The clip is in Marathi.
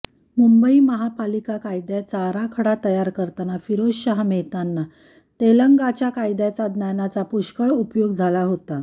मुंबई महापालिक कायद्याचा आराखडा तयार करतान फिरोजशहा मेहताना तेलंगाच्या कायद्याच्या ज्ञानाचा पुष्कळच उपयोग झाला होता